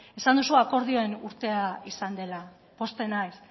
esan duzu akordioen urtea izan dela pozten naiz